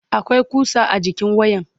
akwai kusa a jikin wayan